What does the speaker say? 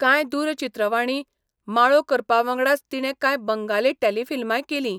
कांय दूरचित्रवाणी माळो करपावांगडाच तिणें कांय बंगाली टेलिफिल्मांय केलीं.